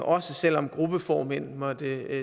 også selv om gruppeformænd måtte